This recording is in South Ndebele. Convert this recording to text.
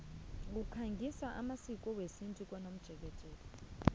kukhangiswa ngamasiko wesintu komjekejeke